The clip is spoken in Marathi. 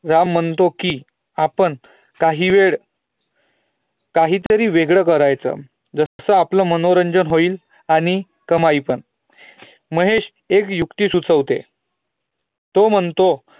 राम म्हणतो की, आपण काही वेळ काही तरी वेगळे करायचं ज्याने आपलं मनोरंजन होईल आणि कमाई पण महेश एक युक्ती सुचवतो तो म्हणतो